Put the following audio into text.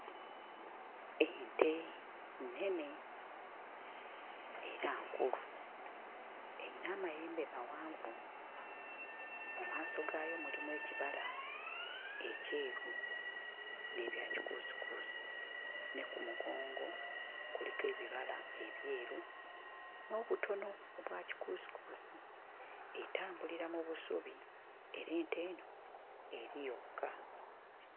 Ente nnene era nkulu eyina amayembe mawanvu mu maaso gaayo mulimu ekibala ekyeru n'ebya kikuusikuusi ne ku mugongo kuliko ebibala ebyeru n'obutono obwa kikuusikuusi etambulira mu busubi era ente eno eri yokka.